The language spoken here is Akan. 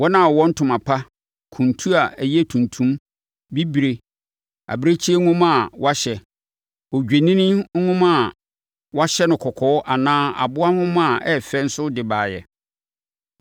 Wɔn a wɔwɔ ntoma pa, kuntu a ɛyɛ tuntum, bibire, abirekyie nhoma a wɔahyɛ, odwennini nhoma a wɔahyɛ no kɔkɔɔ anaa aboa nhoma a ɛyɛ fɛ nso de baeɛ.